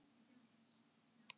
Sigþóra, hvað er að frétta?